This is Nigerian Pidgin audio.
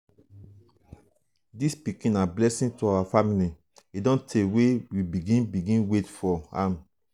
dis pikin na blessing to our family e don tey wey we begin begin wait for am.